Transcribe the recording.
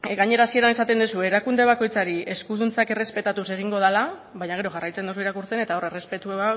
gainera hasieran esaten duzu erakunde bakoitzari eskuduntzak errespetatuz egingo dela baina gero jarraitzen duzu irakurtzen eta hor errespetua